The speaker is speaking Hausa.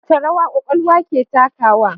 Wace rawa kwakwalwa ke takawa?